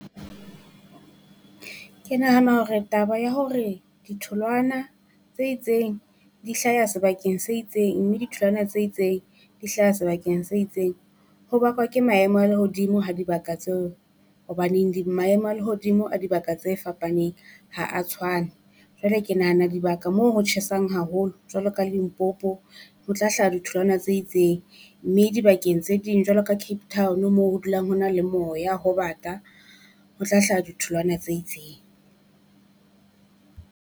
Ke nahana hore taba ya hore ditholwana tse itseng di hlaya sebakeng se itseng, mme ditholwana tse itseng di hlaha sebakeng se itseng. Ho bakwa ke maemo a lehodimo ha dibaka tseo hobaneng di maemo a lehodimo a dibaka tse fapaneng ha a tshwane. Jwale ke nahana dibaka moo ho tjhesang haholo jwalo ka Limpopo, ho hlaha ditholwana tse itseng mme dibakeng tse ding jwalo ka Cape Town, mo ho dulang ho na le moya ho bata ho tla hlaha ditholwana tse itseng.